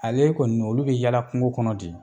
Ale kɔni olu bɛ yaala kungo kɔnɔ de